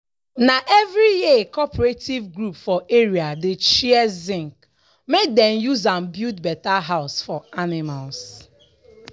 na every year cooperative group for area dey share zinc make dem use am build better house for animals.